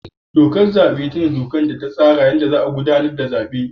Dokar zabe ita ce dokar da ta tsara yadda za a gudanar da zabe.